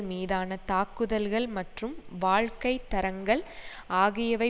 மீதான தாக்குதல்கள் மற்றும் வாழ்க்கை தரங்கள் ஆகியவை